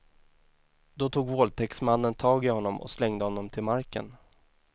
Då tog våldtäktsmannen tag i honom och slängde honom till marken.